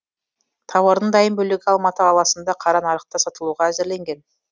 тауардың дайын бөлігі алматы қаласында қара нарықта сатылуға әзірленген